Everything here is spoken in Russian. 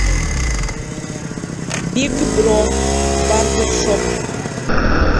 биг бро барбершоп